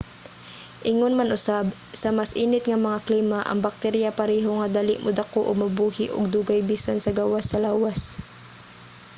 ingon man usab sa mas init nga mga klima ang bakterya pareho nga dali modako ug mabuhi og dugay bisan sa gawas sa lawas